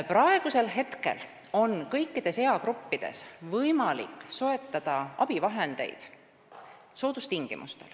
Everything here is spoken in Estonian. Praegu on kõikides eagruppides võimalik soetada abivahendeid soodustingimustel.